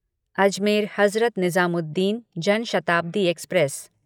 Ajmer Hazrat Nizamuddin Jan Shatabdi express